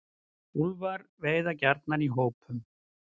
Úlfar veiða gjarnan í hópum.